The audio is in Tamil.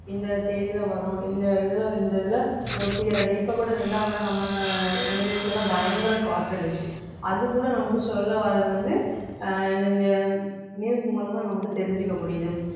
இந்த தேதியிலே வரும் இந்த இதுல இந்த இதுல ஒரு புயல் அடி இப்ப கூட இரண்டாம் இடம் நம்ம எங்க வீட்டுல எல்லாம் பயங்கர காத்து அடிச்சு அதுகூட நமக்கு சொல்ல வர்றது வந்து அஹ் இந்த அஹ் news மூலமா நமக்கு தெரிஞ்சுக்க முடியுது